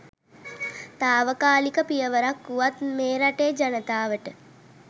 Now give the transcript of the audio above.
තාවකාලික පියවරක් වුවත් මේ රටේ ජනතාවට